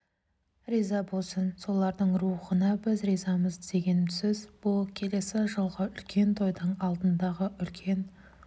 риза болсын солардың рухына біз ризамыз деген сөз бұл келесі жылғы үлкен тойдың алдындағы үлкен